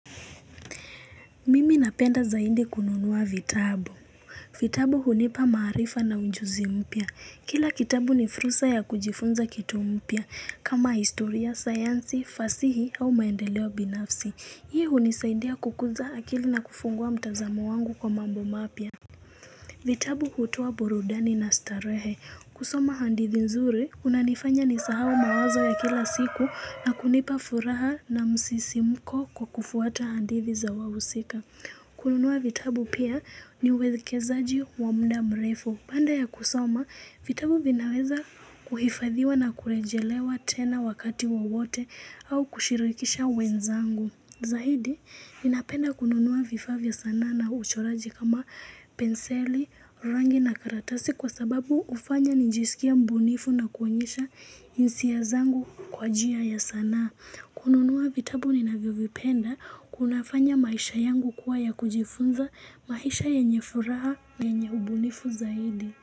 Mimi napenda zaindi kununua vitabu vitabu hunipa marifa na unjuzi mpia Kila kitabu ni fursa ya kujifunza kitu mpia kama historia, sayansi, fasihi au maendeleo binafsi Hii hunisaidia kukuza akili na kufungua mtazamo wangu kwa mambo mapia vitabu hutoa burudani na starehe kusoma handithi nzuri unanifanya nisahawo mawazo ya kila siku na kunipa furaha na msisimko kwa kufuata handithi za wawusika kununua vitabu pia ni uwekezaji wa mda mrefu. Banda ya kusoma, vitabu vinaweza kuhifadhiwa na kurejelewa tena wakati wo wote au kushirikisha wenzangu. Zahidi, ninapenda kununua vifa vya sana na uchoraji kama penseli, rangi na karatasi kwa sababu ufanya nijisikia mbunifu na kuonyesha insia zangu kwa jia ya sana. Kununuwa vitabu nina vyovipenda kunafanya maisha yangu kuwa ya kujifunza maisha yenyefuraa na yenye ubunifu zaidi.